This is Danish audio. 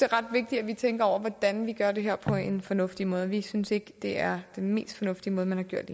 ret vigtigt at vi tænker over hvordan vi gør det her på en fornuftig måde vi synes ikke det er den mest fornuftige måde man har gjort